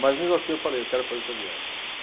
Mas, mesmo assim, eu falei, eu quero fazer essa viagem.